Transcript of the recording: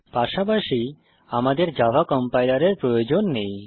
পাশাপাশি আমাদের জাভা কম্পাইলারের প্রয়োজন নেই